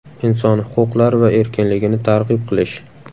Inson huquqlari va erkinligini targ‘ib qilish.